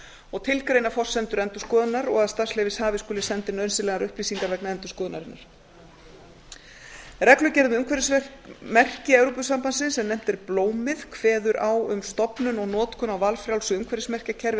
og tilgreina forsendur endurskoðunar og að starfsleyfishafi skuli senda inn nauðsynlegar upplýsingar vegna endurskoðunarinnar reglugerð um umhverfismerki evrópusambandsins sem nefnt er blómið kveður á um stofnun og notkun á valfrjálsu umhverfismerkjakerfi